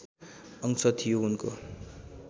अंश थियो उनको